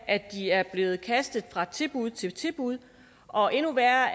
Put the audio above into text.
at de er blevet kastet fra tilbud til tilbud og endnu værre